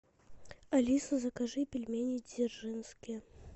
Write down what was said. алиса закажи пельмени дзержинские